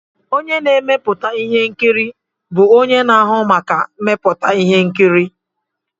Onye na-emepụta ihe nkiri bụ onye na-ahụ maka mmepụta ihe nkiri.